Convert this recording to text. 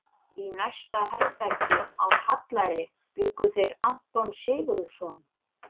Í næsta herbergi, á Hallæri, bjuggu þeir Anton Sigurðsson